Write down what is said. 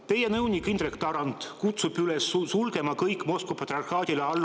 Teie nõunik Indrek Tarand kutsub üles sulgema kõik Moskva patriarhaadile alluvad …